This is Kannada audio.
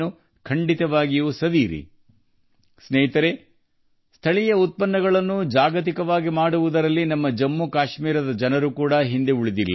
ಸ್ನೇಹಿತರೆ ಜಮ್ಮು ಕಾಶ್ಮೀರದ ಜನರು ಸಹ ಸ್ಥಳೀಯ ಉತ್ಪನ್ನಗಳನ್ನು ಜಾಗತಿಕವಾಗಿಸುವಲ್ಲಿ ಹಿಂದೆ ಬಿದ್ದಿಲ್ಲ